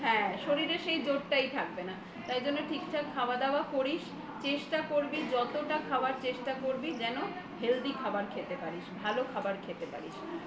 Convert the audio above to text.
হ্যাঁ শরীরের সেই জোরটাই থাকবে না তাই জন্য ঠিকঠাক খাবার দাবার করিস চেষ্টা করবি যতটা খাবার চেষ্টা করবি যেন হেলদি খাবার খেতে পারিস ভালো খাবার খেতে পারিস